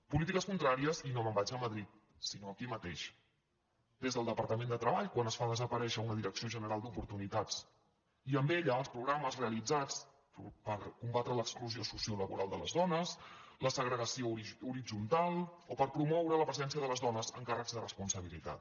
polítiques contràries i no me’n vaig a madrid sinó aquí mateix des del departament de treball quan es fa desaparèixer una direcció general d’oportunitats i amb ella els programes realitzats per combatre l’exclu·sió sociolaboral de les dones la segregació horitzontal o per promoure la presència de les dones en càrrecs de responsabilitat